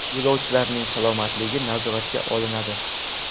Yo‘lovchilarning salomatligi nazoratga olinadi.